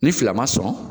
Ni fila ma sɔn